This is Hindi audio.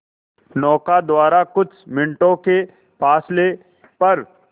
नौका द्वारा कुछ मिनटों के फासले पर